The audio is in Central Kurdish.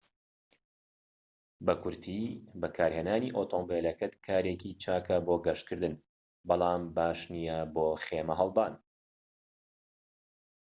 بە کورتی بەکارهێنانی ئۆتۆمبیلەکەت کارێکی چاکە بۆ گەشتکردن بەڵام باش نیە بۆ خێمە هەڵدان